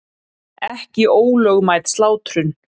Ekki ólögmæt slátrun